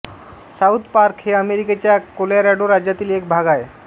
south Park हे अमेरिकेच्या Colorado राज्यातील एक भाग आहे